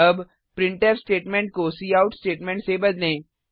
अब printf statement को cout statement से बदलें